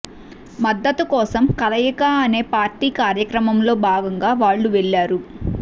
మద్దతు కోసం కలయిక అనే పార్టీ కార్యక్రమంలో భాగంగా వాళ్లు వెళ్లారు